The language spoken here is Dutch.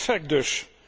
Perfect dus!